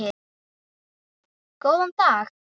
Góðan dag?